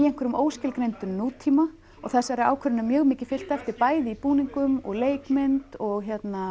einhverjum óskilgreindum nútíma og þessari ákvörðun er mjög mikið fylgt eftir bæði í búningum og leikmynd og